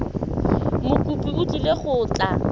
mokopi o tlile go tla